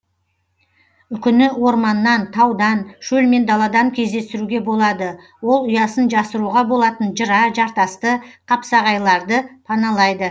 үкіні орманнан таудан шөл мен даладан кездестіруге болады ол ұясын жасыруға болатын жыра жартасты қапсағайларды паналайды